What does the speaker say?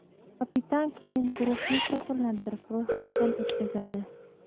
Kapitan keyin guruhni shakllantirib, ro‘yxatdan o‘tkazadi.